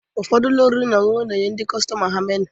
Ụfọdụ ụlọ oriri na ọṅụṅụ na-enye ndị kọstọma ha meniu